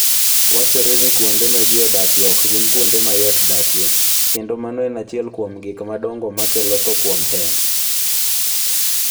Wachore ni kuonde ma ji odakie ok gin kuonde ma yot dakie, kendo mano en achiel kuom gik madongo makelo tho kuom hema.